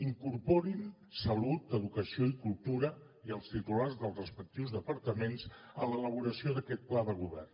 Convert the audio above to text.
incorporin salut educació i cultura i els titulars dels respectius departaments en l’elaboració d’aquest pla de govern